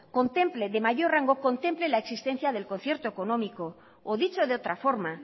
contemple la existencia del concierto económico o dicho de otra forma